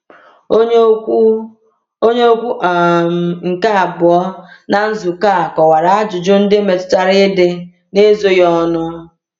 Onye okwu Onye okwu um nke abụọ na nzukọ a kọwara ajụjụ ndị metụtara ịdị n’ezoghị ọnụ.